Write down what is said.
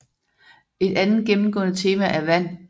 Et andet gennemgående tema er vand